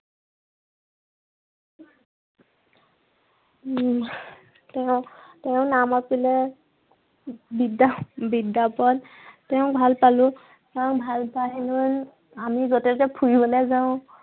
উম তেওঁ তেওঁ নামাতিলে বিদ্য়া বিদ্য়া শপত, তেওঁ ভাল পালো। তেওঁ ভাল পাই লৈ আমি যতে ততে ফুৰিবলৈ যাওঁ।